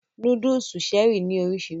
Núdúùsù Cherie ní oríṣiríṣi